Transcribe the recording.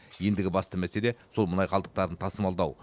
ендігі басты мәселе сол мұнай қалдықтарын тасымалдау